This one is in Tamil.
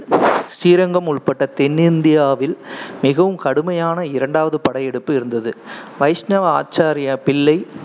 ஸ்ரீரங்கம் உட்பட்ட தென்னிந்தியாவில் மிகவும் கடுமையான இரண்டாவது படையெடுப்பு இருந்தது வைஷ்ணவ ஆச்சாராய பிள்ளை